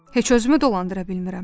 Heç özümü dolandıra bilmirəm.